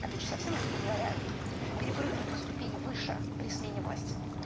опять же совсем грубо говоря перепрыгнуть на ступень выше при смене власти